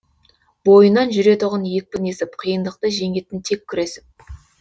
бойынан жүретұғын екпін есіп қиындықты жеңетін тек күресіп